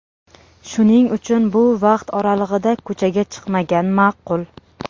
Shuning uchun bu vaqt oralig‘ida ko‘chaga chiqmagan ma’qul.